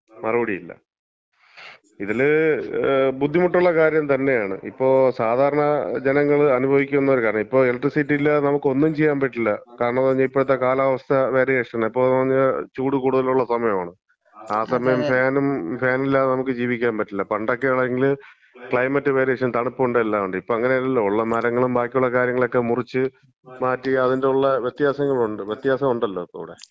മറുപടി ഇല്ല. ഇതൊരു ബുദ്ധിമുട്ടുള്ള കാര്യം തന്നെയാണ്. ഇതിപ്പം സാധാരണ ജനങ്ങള് അനുഭവിക്കുന്ന ഒരു കാര്യാണ്. ഇപ്പം ഇലക്ട്രിസിറ്റി ഇല്ലാതെ നമുക്ക് ഒന്നും ചെയ്യാൻ പറ്റില്ല. കാരണംന്ന് പറഞ്ഞാ, ഇപ്പോഴത്തെ കാലാവസ്ഥ വേരിയേഷന്. ഇപ്പംന്ന് പറഞ്ഞാ, ചൂടു കൂടുതലുള്ള സമയമാണ്, ആ സമയത്ത് ഫാനും, ഫാനില്ലാതെ നമുക്ക് ജീവിക്കാൻ പറ്റില്ല. പണ്ടൊക്കെ ആണെങ്കില് ക്ലൈമറ്റ് വേരിയേഷൻ തണുപ്പ് ഉണ്ട്. എല്ലാമൊണ്ട്. ഇപ്പൊ അങ്ങനെയല്ലല്ലോ. ഉള്ള മരങ്ങളും ബാക്കിയുള്ള കാര്യങ്ങളൊക്കെ മുറിച്ച് മാറ്റി അതിന് റുള്ള വ്യത്യാസങ്ങൾ ഉണ്ടല്ലോ. വ്യത്യാസങ്ങളുണ്ട്. വ്യത്യാസങ്ങളുണ്ടല്ലോ ഇവിടെ.